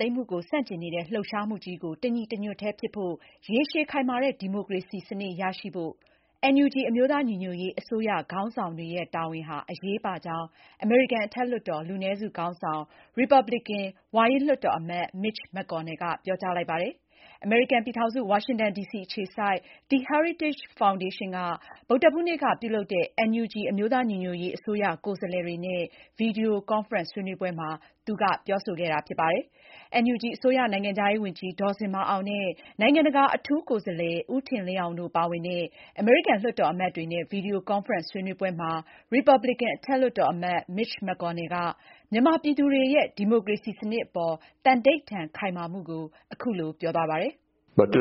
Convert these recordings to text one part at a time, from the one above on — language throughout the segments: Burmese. သိမ်းမှုကို ဆန့်ကျင်နေတဲ့ လှုပ်ရှားမှုကြီးကို တညီတညွတ်တည်းဖြစ်ဖို့ ရေရှည်ခိုင်မာတဲ့ ဒီမိုကရေစီစနစ် ရရှိဖို့ NUG အမျိုးသားညီညွတ်ရေးအစိုးရခေါင်းဆောင်တွေရဲ့ တာဝန်အရေးပါကြောင်း အမေရိကန် အထက်လွှတ်တော် လူနည်းစုခေါင်းဆောင် ရီပါပလင်ကန် ဝါရင့်လွှတ်တော်အမတ် Mitch McConnell ကပြောကြားလိုက်ပါတယ်။ အမေရိကန်ပြည်ထောင်စု ဝါရှင်တန်ဒီစီအခြေစိုက် The heritage foundation က ဗုဒ္ဓဟူးနေ့က ပြုလုပ်တဲ့ NUG အမျိုးသားညီညွတ်ရေးအစိုးရကိုယ်စားလှယ်တွေနဲ့ ဗွီဒီယိုကွန်ဖရင့်ဆွေးနွေးပွဲမှာ သူက ပြောဆိုခဲ့တာဖြစ်ပါတယ်။ မအင်ကြင်းနိုင်က ဆက်လက်တင်ပြမှာပါ။ NUG အစိုးရ နိုင်ငံခြားရေးဝန်ကြီး ဒေါ်ဇင်မာအောင်နဲ့ နိုင်ငံတကာအထူးကိုယ်စားလှယ် ဦးထင်လင်းအောင်တို့ပါဝင်တဲ့ အမေရိကန်လွှတ်တော်အမတ်တွေနဲ့ ဗွီဒီယိုကွန်ဖရင့်ဆွေးနွေးပွဲမှာ ရီပါပလင်ကန် အထက်လွှတ်တော်အမတ် Mitch McConnell က မြန်မာပြည်သူတွေရဲ့ ဒီမိုကရေစီစနစ်အပေါ် သန္နိဋ္ဌာန်ခိုင်မာမှုကို အခုလိုပြောဆိုသွားပါတယ်။ “ဒီ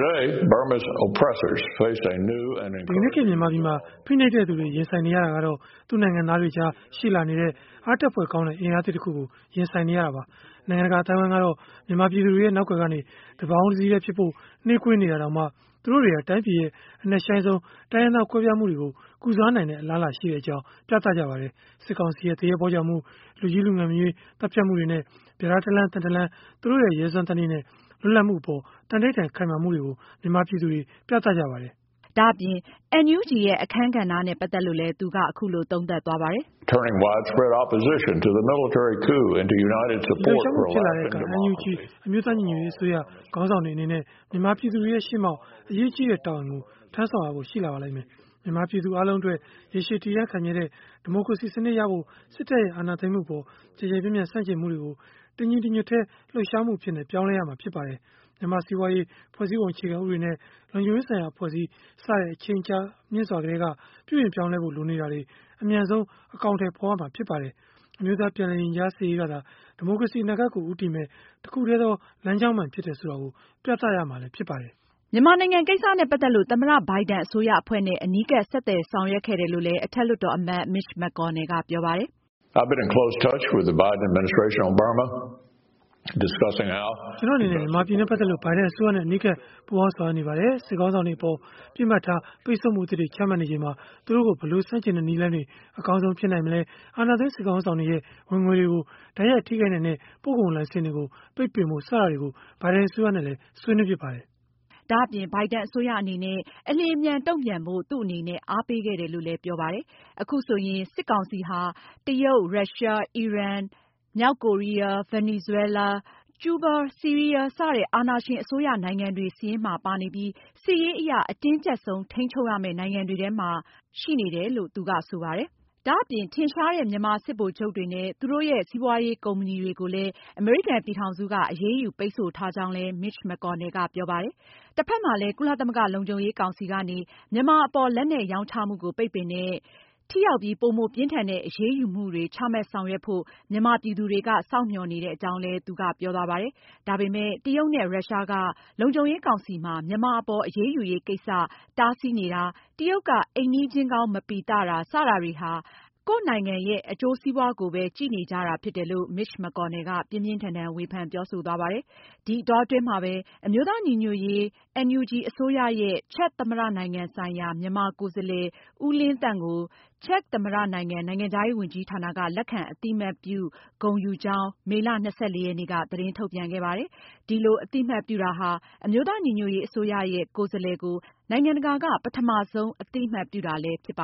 ကနေ့ ခေတ်မြန်မာပြည်မှာ ဖိနှိပ်နေတဲ့စစ်ဗိုလ်ချုပ်တွေဟာ သူ့နိုင်ငံသားတွေကြားရှိလာတဲ့ အားတက်ဖွယ်ကောင်းတဲ့ အင်အားသစ်တခုကို ရင်ဆိုင်နေရပါတယ်။ နိုင်ငံတကာအသိုင်းအဝိုင်းကတော့ မြန်မာပြည်သူတွေရဲ့ နောက်ကွယ်ကနေ တပေါင်းတစည်းတည်းဖြစ်ဖို့ နှေးကွေးနေတာတောင် သူတို့တွေဟာ တိုင်းပြည်ရဲ့ အနက်ရှိုင်းဆုံးတိုင်းရင်းသားကွဲပြားမှုတွေကို ကုစားနိုင်တဲ့ အလားအလာရှိကြောင်း ပြသခဲ့ကြပါတယ်။ စစ်ကောင်စီရဲ့ သူရဲဘောကြောင်မှု၊ လူကြီး လူငယ်မရွေး သတ်ဖြတ်မှုတွေနဲ့ ပြဒါးတလမ်း သံတလမ်းစီ သူတို့ရဲ့ ရဲစွမ်းသတ္တိနဲ့ လွတ်လပ်မှုအပေါ် သန္နိဋ္ဌာန်ခိုင်မာမှုကို မြန်မာပြည်သူတွေ ပြသခဲ့ပါတယ်။” ဒါအပြင် NUG ရဲ့ အခန်းကဏ္ဍနဲ့ ပတ်သက်လို့လည်း သူက အခုလို သုံးသပ်ပါတယ်။ “ဒီလှုပ်ရှားမှု ဖြစ်ပေါ်လာတဲ့အခါမှာ NUG အမျိုးသားညီညွတ်ရေးအစိုးရခေါင်းဆောင်တွေအနေနဲ့ မြန်မာပြည်သူတွေရဲ့ရှေ့မှောက် အရေးကြီးတဲ့ တာဝန်ကို ထမ်းဆောင်ရဖို့ရှိလာပါလိမ့်မယ်။ မြန်မာပြည်သူအားလုံးအတွက် ရေရှည်တည်တံ့ခိုင်မြဲတဲ့ ဒီမိုကရေစီစနစ်ရဖို့ စစ်တပ်အာဏာသိမ်းမှုအပေါ် ကျယ်ကျယ်ပြန့်ပြန့်ဆန့်ကျင်မှုတွေကို တညီတညွတ်တည်းလှုပ်ရှားမှု အဖြစ် ပြောင်းလဲရမှာဖြစ်ပါတယ်။ မြန်မာ့စီးပွားရေး၊ ဖွဲ့စည်းပုံအခြေခံဥပဒေနဲ့ လုံခြုံရေးဆိုင်ရာ အဖွဲ့အစည်း စတဲ့ အချိန်ကြာမြင့်စွာကတည်းက ပြုပြင်ပြောင်းလဲဖို့ လိုနေတာတွေ အမြန်ဆုံးအကောင်အထည်ဖေါ်ရမှာဖြစ်ပါတယ်။ အမျိုးသားပြန်လည်ရင်ကြားစေ့ရေးကသာ ဒီမိုကရေစီအနာဂတ်ကို ဦးတည်မယ့် တခုတည်းသောလမ်းကြောင်း အမှန်ဖြစ်တယ်ဆိုတာပြသရမှာဖြစ်ပါတယ်။” မြန်မာနိုင်ငံကိစ္စနဲ့ ပတ်သက်လို့ သမ္မတ ဘိုင်ဒန်အစိုးရအဖွဲ့နဲ့ အနီးကပ် ဆက်သွယ်ဆောင်ရွက်ခဲ့တယ်လို့လည်း အထက်လွှတ်တော်အမတ် Mitch McConnell ကပြောပါတယ်။ “ ကျနော်အနေနဲ့ မြန်မာနဲ့ ပတ်သက်လို့ ဘိုင်ဒန်အစိုးရနဲ့ အနီးကပ်ပူးပေါင်းဆောင်ရွက်နေတပါတယ်။ စစ်ခေါင်းဆောင်တွေအပေါ် ပစ်မှတ်ထားပိတ်ဆို့မှုအသစ်တွေ ချမှတ်နေချိန်မှာ သူတို့ကို ဘယ်လိုဆန့်ကျင်တဲ့နည်းလမ်းတွေ အကောင်းဆုံးဖြစ်မလဲ၊ အာဏာသိမ်းစစ်ခေါင်းဆောင်တွေရဲ့ ဝင်ငွေတွေကို တိုက်ရိုက်ထိခိုက်နိုင်တဲ့ ပို့ကုန်လိုင်စင်တွေကို ပိတ်ပင်ဖို့ စတာတွေကို ဘိုင်ဒန်အစိုးရနဲ့ ဆွေးနွေးဖြစ်ပါတယ်။” ဒါအပြင် ဘိုင်ဒန်အစိုးရအနေနဲ့ အလျင်အမြန်တုံ့ပြန်ဖို့ သူ့အနေနဲ့ အားပေးခဲ့တယ်လို့လည်း ပြောပါတယ်။ အခုဆိုရင် စစ်ကောင်စီဟာ China၊ Russia၊ Iran၊ North Korea၊ Venezuela၊ Cuba၊ Syria စတဲ့ အာဏာရှင်အစိုးရနိုင်ငံတွေစာရင်းမှာ ပါနေပြီး စစ်ရေးအရ အတင်းကျပ်ဆုံး ထိန်းချုပ်ရမယ့် နိုင်ငံတွေထဲမှာ ပါနေပြီဖြစ်တယ်လို့ ဆိုပါတယ်။ ဒါအပြင် ထင်ရှားတဲ့ မြန်မာစစ်ဗိုလ်ချုပ်တွေနဲ့ သူတို့ရဲ့ စီးပွားရေး ကုမ္ပဏီတွေကိုလည်း အမေရိကန်ပြည်ထောင်စုအနေနဲ့ အရေးယူ ပိတ်ဆို့ထားကြောင်းလည်း Mitch McConnell ကဆိုပါတယ်။ တဖက်မှာလည်း ကုလသမဂ္ဂလုံခြုံရေးကောင်စီကနေ မြန်မာအပေါ် လက်နက်ရောင်းချမှုကို ပိတ်ပင်တဲ့ ထိရောက်ပြီး ပိုမိုပြင်းထန်တဲ့အရေးယူမှုတွေ ချမှတ်ဆောင်ရွက်ဖို့ မြန်မာပြည်သူတွေက စောင့်မျှော်နေတဲ့အကြောင်းလည်း သူကပြောသွားပါတယ်။ ဒါပေမဲ့ တရုတ်နဲ့ ရုရှားက လုံခြုံရေးကောင်စီမှာ မြန်မာအပေါ် အရေးယူရေးကိစ္စကို တားဆီးနေတာ၊ တရုတ်က အီမန်ီးချင်းကောင်းမပီသတ စတာတွေဟာ ကိုယ့်နိုင်ငံရဲ့ အကျိုးစီးပွားရေးကိုပဲကြည့်နေတာဖြစ်တယ်လို့ Mitch McConnell က ပြင်းပြင်းထန်ထန်ဝေဖန်ပြောဆိုသွားပါတယ်။ ဒီအတောအတွင်းမှာပဲ အမျိုးသား ညီညွတ်ရေး NUG အစိုးရရဲ့ ချက်သမ္မတနိုင်ငံဆိုင်ရာ မြန်မာကိုယ်စားလှယ် ဦးလင်းသန့်ကို ချက်သမ္မတ နိုင်ငံ နိုင်ငံခြားရေးဝန်ကြီးဌာနက လက်ခံ အသိအမှတ်ပြု ဂုဏ်ယူကြောင်း မေလ ၂၄ ရက်နေ့က သတင်းထုတ်ပြန်ခဲ့ပါတယ်။ ဒီလို အသိမှတ်ပြုတာဟာ အမျိုးသားညီညွှတ်ရေး အစိုးရ ရဲ့ ကိုယ်စားလှယ်ကို နိုင်ငံတကာက ပထမဆုံး အသိအမှတ်ပြုတာဖြစ်ပ